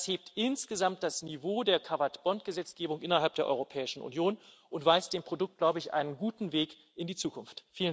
Das hebt insgesamt das Niveau der Cabot Bond Gesetzgebung innerhalb der Europäischen Union und weist dem Produkt, glaube ich, einen guten Weg in die Zukunft.